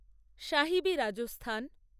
Sahibi Rajasthan